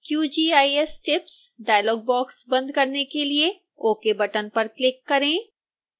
qgis tips dialogue box बंद करने के लिए ok बटन पर क्लिक करें